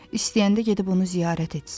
İstəyəndə gedib onu ziyarət etsin.